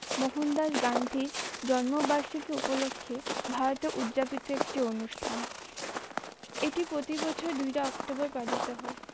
মোহন দাস গান্ধী জন্মবার্ষিকী উপলক্ষে ভারতের উদযাপিত একটি অনুষ্ঠান এটি প্রতিবছর দুইরা অক্টোবর পালিত হয়।